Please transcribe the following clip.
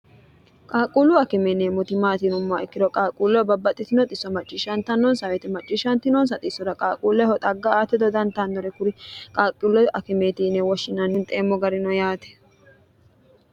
qaaqquullu akimeenee motimaatiinommaa ikkiro qaaquulleho babbaxxitino xisso macciishshanta nonsa awete macciishshanti noonsa xissora qaaquulleho xagga ate dodantannore kuri qaaqquullo akimeetiine woshshinannin xeemmo garino yaate